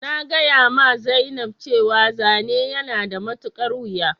Na gaya ma zainab cewa zane yana da matukar wuja